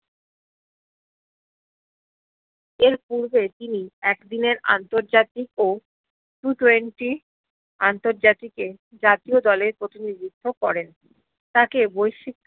এর পূর্বে তিনি এক দিনের আন্তর্জাতিক ও Ttwenty আন্তর্জাতিকে জাতিয় দলের প্রতিনিধিত্ব করেন তাকে বৈসিক